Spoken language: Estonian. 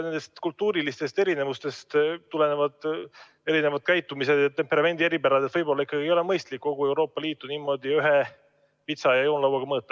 Nendest kultuurilistest erinevustest tulenevad käitumisviisi ja temperamendi eripärad, nii et võib-olla ei ole ikkagi mõistlik kogu Euroopa Liitu ühe vitsaga lüüa ja ühe joonlauaga mõõta.